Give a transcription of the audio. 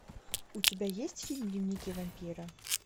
у тебя есть фильм дневники вампира